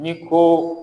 Ni ko